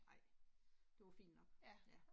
Nej, det var fint nok, ja